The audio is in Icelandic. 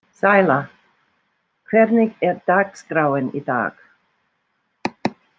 Sæla, hvernig er dagskráin í dag?